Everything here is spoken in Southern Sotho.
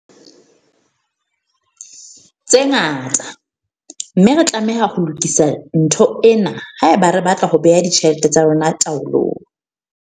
tse ngata, mme re tlameha ho lokisa ntho ena haeba re batla ho bea ditjhelete tsa rona taolong.